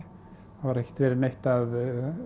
það var ekkert verið neitt að